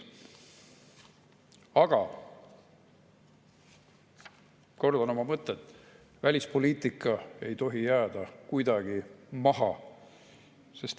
Aga kordan oma mõtet: välispoliitika ei tohi jääda kuidagi maha.